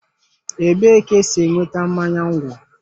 Ebee ka esi enweta mmanya ńgwọ?